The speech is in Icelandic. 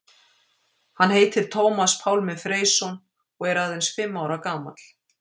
Hann heitir Tómas Pálmi Freysson og er aðeins fimm ára gamall.